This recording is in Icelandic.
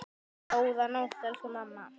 Góða nótt, elsku mamma.